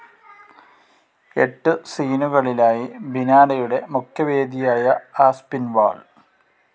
എട്ടു സീനുകളിലായി ബിനാലെയുടെ മുഖ്യവേദിയായ ആസ്പിൻവാൾ